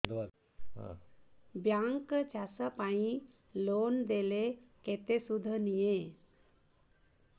bank ଚାଷ ପାଇଁ loan ଦେଲେ କେତେ ସୁଧ ନିଏ